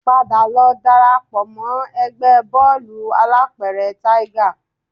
Padà lọ dara pọ̀ mọ́ ẹgbẹ́ bóòlù alápẹ̀rẹ̀ Tiger